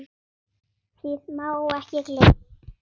Því má ekki gleyma.